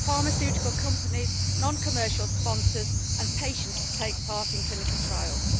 pharmaceutical companies, non commercial sponsors and patients to take part in clinical trials.